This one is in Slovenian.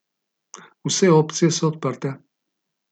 Vse opcije so odprte.